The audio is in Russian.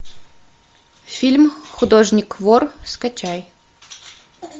фильм художник вор скачай